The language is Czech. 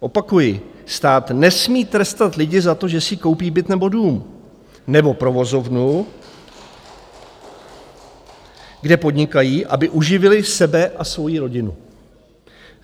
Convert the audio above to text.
Opakuji: Stát nesmí trestat lidi za to, že si koupí byt nebo dům, nebo provozovnu, kde podnikají, aby uživili sebe a svoji rodinu.